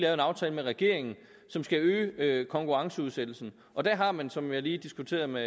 en aftale med regeringen som skal øge konkurrenceudsættelsen og der har man som jeg lige diskuterede med